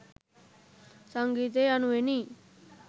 සංගීතය යනුවෙනි.